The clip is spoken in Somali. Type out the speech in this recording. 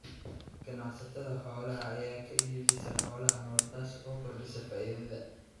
Ganacsatada xoolaha ayaa ka iibsada xoolaha nool, taas oo kordhisa faa'iidada.